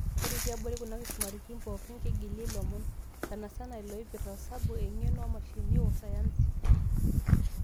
Ore tiabori kuna kisumaritin pookin, keigili ilomon. Sana sana loipirta, osabu, eng'eno oomashinini, wo sayansi.